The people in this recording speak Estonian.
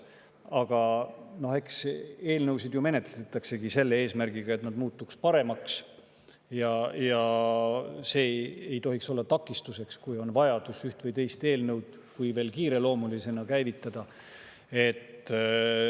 Aga eks eelnõusid ju menetletaksegi selle eesmärgiga, et nad muutuks paremaks, ja see ei tohiks olla takistuseks, kui on vajadus ühe või teise eelnõu kiireloomulisena käivitada.